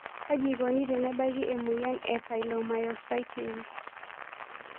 Kaji eikoni tenebaki emoyian e polymyositis?